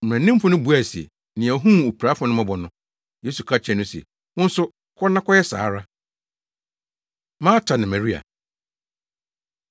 Mmaranimfo no buae se, “Nea ohuu opirafo no mmɔbɔ no.” Yesu ka kyerɛɛ no sɛ, “Wo nso, kɔ na kɔyɛ saa ara.” Marta Ne Maria